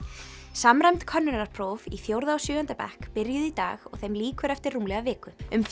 samræmd könnunarpróf í fjórða og sjöunda bekk byrjuðu í dag og þeim lýkur eftir rúmlega viku um